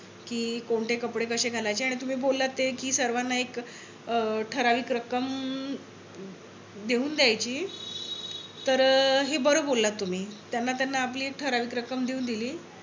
कि कोणते कपडे कशे घालायचे. आणि तुम्ही बोललात ते कि सर्वांना एक ठराविक रक्कम देऊन द्यायची. तर हे बर बोललात तुम्ही. त्यांना त्यांना आपली एक ठराविक रक्कम देऊन दिली.